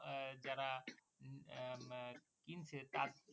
আহ যারা উম আহ কিনছে তা~